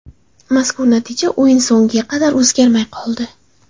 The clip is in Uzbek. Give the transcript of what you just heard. Mazkur natija o‘yin so‘ngiga qadar o‘zgarmay qoldi.